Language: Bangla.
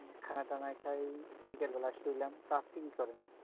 খানাটানা খাই, বিকেল বেলা শুইলাম, তো আপনি কি করেন?